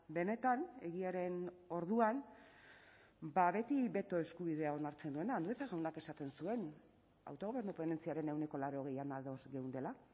benetan egiaren orduan beti beto eskubidea onartzen duena andueza jaunak esaten zuen autogobernu ponentziaren ehuneko laurogeian ados geundela